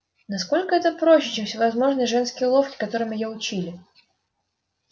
насколько это проще чем всевозможные женские уловки которым её учили